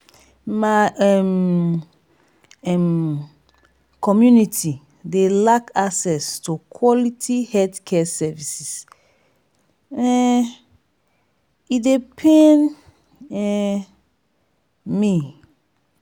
my um um community dey lack access to quality healthcare services um e dey pain um me.